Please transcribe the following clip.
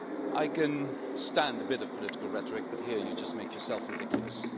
I can stand a bit of political rhetoric, but here you just make yourself ridiculous.